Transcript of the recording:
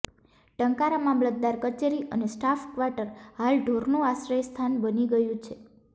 ટંકારા મામલતદાર કચેરી અને સ્ટાફ કવાટર હાલ ઢોરનું આશ્રય સ્થાન બની ગયું છે